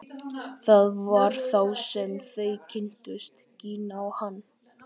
Það var þá sem þau kynntust, Gína og hann.